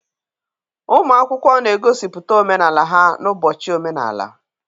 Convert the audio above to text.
Ụmụ akwụkwọ na-egosipụta omenala ha n'ụbọchị omenala.